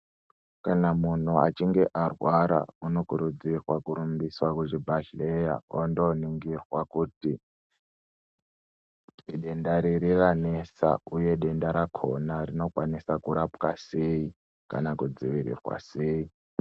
Kana muntu achinhe arwara unokirudzirwa kurumbiswa kuzvibhehlera ondoningirwa kuti idenda riri ranesa uye denda rakona rinokwanisa kurapwa sei kana kudzivirirwa sei.